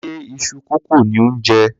Ṣe iṣu kókò ni ò ń jẹ?